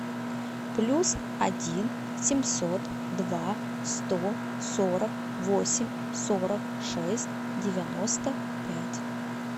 плюс один семьсот два сто сорок восемь сорок шесть девяносто пять